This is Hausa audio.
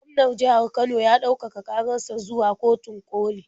Gwaman jihar Kano ya ɗaukaka ƙarar sa zuwa kotun ƙoli.